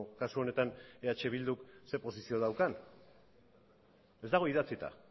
kasu honetan eh bilduk ze posizio daukan ez dago idatzita